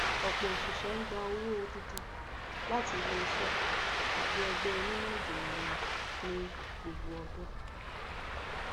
ọpọ oṣiṣẹ ń gba owó odidi láti iléiṣẹ tàbí ẹgbẹ onímọ ìjìnlè wọn ní gbogbo ọdún